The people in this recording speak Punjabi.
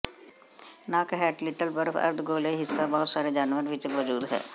ਨੱਕ ਹੇਠ ਲਿਟਲ ਬਰਫ ਅਰਧਗੋਲੇ ਹਿੱਸਾ ਬਹੁਤ ਸਾਰੇ ਜਾਨਵਰ ਵਿਚ ਮੌਜੂਦ ਹੈ